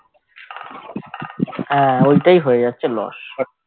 হ্যাঁ ঐটাই হয়ে যাচ্ছে loss